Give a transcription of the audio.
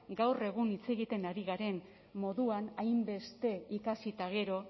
gaur egun hitz egiten ari garen moduan hainbeste ikasi eta gero